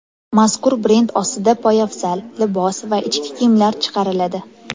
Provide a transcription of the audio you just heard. Mazkur brend ostida poyafzal, libos va ichki kiyimlar chiqariladi.